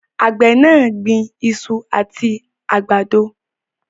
Àgbè náà gbin isu àti àgbàdo